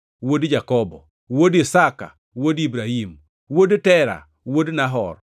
wuod Jakobo, wuod Isaka, wuod Ibrahim, wuod Tera, wuod Nahor,